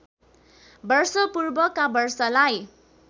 वर्ष पूर्वका वर्षलाई